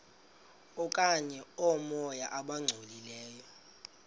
okanye oomoya abangcolileyo